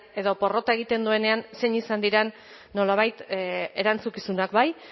edo porrot egiten duenean zein izan diren nolabait erantzukizunak bai